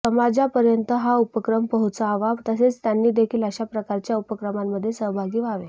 समाजापर्यंत हा उपक्रम पोहोचावा तसेच त्यांनी देखील अशाप्रकारच्या उपक्रमांमध्ये सहभागी व्हावे